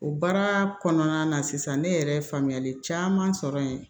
O baara kɔnɔna na sisan ne yɛrɛ faamuyali caman sɔrɔ yen